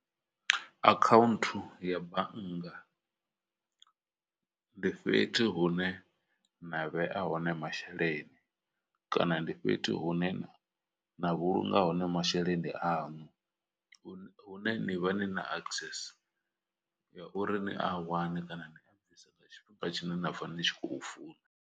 Akhaunthu ya bannga ndi fhethu hune na vhea hone masheleni, kana ndi fhethu hune na na vhulunga hone masheleni aṋu. Hune hune ni vha ni na access ya uri ni a wane kana ni a bvise nga tshifhinga tshine na pfha ni tshi khou funa.